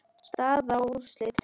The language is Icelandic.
Staða og úrslit